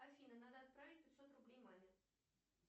афина надо отправить пятьсот рублей маме